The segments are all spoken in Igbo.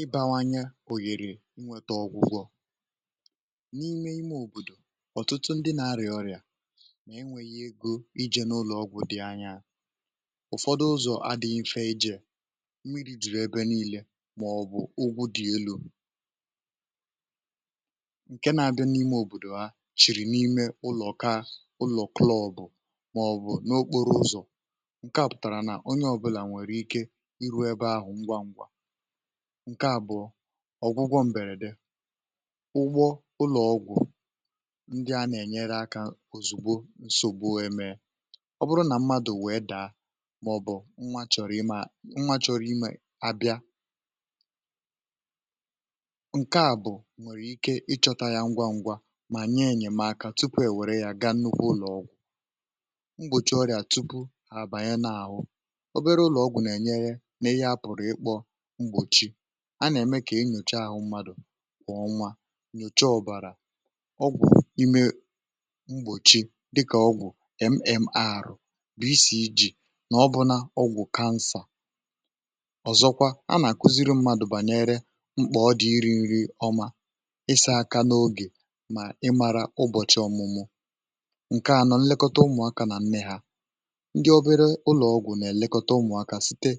ịbawanye òyèrè nwẹtẹ ọgwụgwọ n’ime ime òbòdò um ọ̀tụtụ ndị na-arịà ọrịà na ẹnwẹ̀yẹ egȯ ijė n’ụlọ̀ ọgwụ̀ dị anya um ụ̀fọdụ ụzọ̀ adị̇ị mfẹ ẹjẹ̇ mmiri dị̀rị̀ ẹbẹ niile màọ̀bụ̀ ụgwụ dị̇ elu̇ ǹkẹ nà-abịa n’ime òbòdò ha chị̀rị̀ n’ime ụlọ̀ um kaa ụlọ̀ klọb màọ̀bụ̀ n’okporo ụzọ̇ ǹke à bụ̀ ọ̀gwụgwọ m̀bèrède ụgbọ ụlọ̀ọgwụ̀ ndị a nà-ènyere akȧ òzùgbo ǹsògbu èmèe ọ bụrụ nà mmadụ̀ wèe dàa màọ̀bụ̀ nwȧ chọ̀rọ̀ imė a nwȧ chọ̀rọ̀ imė abịa ǹke à bụ nwèrè ike ịchọ̇tȧ ya ngwa ngwa mà nye ènyèmaka tupu èwèrè ya ga nnukwu ụlọ̀ọgwụ̀ m̀gbòchi ọrìà tupu à àbànye n’àhụ n’ihị apụ̀rụ̀ ịkpọ mgbochi a nà-ème kà enyòchee ahụ̇ mmadụ̀ kwà ọnwa nyòchee ọ̀bàrà ọgwụ̀ ime mgbòchi dịkà ọgwụ̀ MMR bụ̀ isì iji̇ nà ọbụna ọgwụ̀ kansà ọ̀zọkwa a nà-àkuziri mmadụ̇ bànyere mkpà ọdị nri nri ọma ịsị̇ aka n’ogè mà ị màrà ụbọ̀chị ọ̀mụmụ ǹkeànọ̀ nlekọta ụmụ̀ aka nà nne hȧ um ndị obere ụlọ̀ọgwụ̀ nà-èlekọta ụmụ̀ aka site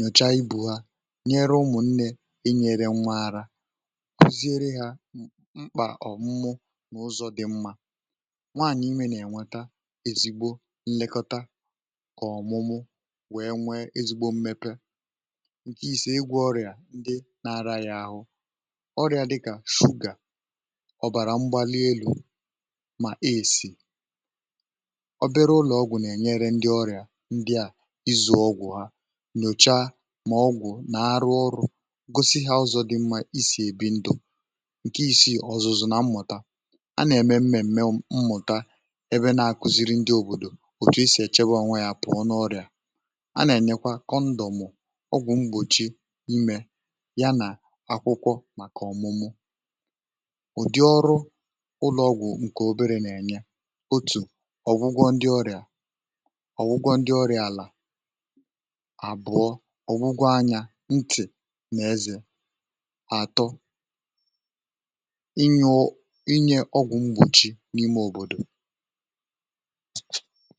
nyòcha ibù ha nyere umù nne e nyere nwaara kuziere ha mkpà ọ̀ mmụụ n’ụzọ̇ dị mmȧ nwaànyị mee nà-ènwata ezigbo nlekọta ọ̀mụmụ wee nwe ezigbo mmepe ǹke ise igwe ọrịà ndị na-ara ya àhụ ọrịà dịkà fogà ọ̀bàrà mgbali elu̇ mà e sì nyòcha mà ọgwụ̀ nà arụ ọrụ̇ gosi hȧ ụzọ̇ dị mmȧ isì èbi ndȯ ǹke isi̇ ọ̀zụ̀zụ̀ na mmụ̀ta a nà-ème m̀mèm̀me mmụ̀ta ebe na-àkùziri ndị òbòdò òtù i sì èchebe onwe yȧ pụ̀ ọ na ọrịà a nà-ènyekwa kọndọm ọgwụ̀ mgbòchi mmė ya nà akwụkwọ màkà ọ̀mụmụ ụ̀dị ọrụ ụlọ̇ọ̇gwụ̀ ǹkè obere nà-ènye otù ọgwụgwọ ndị ọrịà um ọgwụgwọ ndị ọrịà àlà ọ̀gwụgwọ anyȧ ntị nà ezi̇ àtọ inyė ọgwụ̀ mgbochi n’ime òbòdò